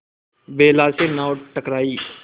बेला से नाव टकराई